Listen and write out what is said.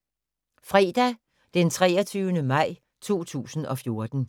Fredag d. 23. maj 2014